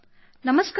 ನಮಸ್ಕಾರ ಸರ್